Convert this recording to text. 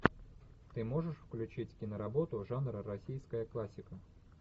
ты можешь включить киноработу жанра российская классика